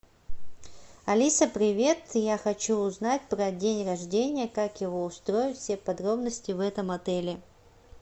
алиса привет я хочу узнать про день рождение как его устроить все подробности в этом отеле